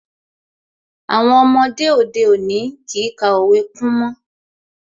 Àwọn ọmọdé òde òní kìí ka òwe kún mọ́